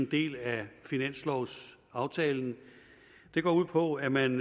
del af finanslovsaftalen går ud på at man